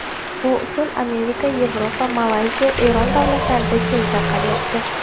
Bu usul Amerika, Yevropa, Malayziya, Eron davlatlarida keng tarqalyapti.